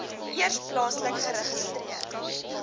eers plaaslik geregistreer